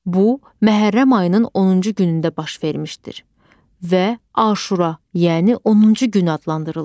Bu, Məhərrəm ayının 10-cu günündə baş vermişdir və Aşura, yəni 10-cu gün adlandırılır.